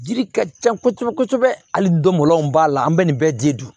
Jiri ka ca kosɛbɛ kosɛbɛ hali don malon b'a la an bɛ nin bɛɛ de dun